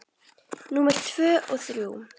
Númer tvö og þrjú.